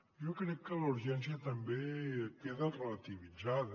jo crec que la urgència també queda relativitzada